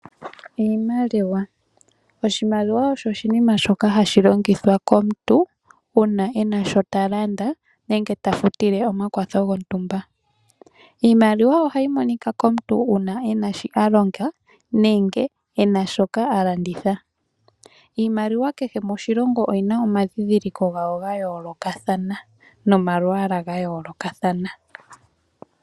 Oshimaliwa osho oshinima shoka hashi longithwa komuntu uuna e na shoka ta landa nenge ta futile omakwatho gontumba. Iimaliwa ohayi monika komuntu uuna e na shoka a longa nenge a landitha. Iimaliwa kehe moshilongo oyi na omandhindhiliko ga yoolokathana nomalwaala ga yoolokathana.